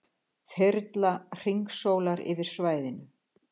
Þyrla hringsólar yfir svæðinu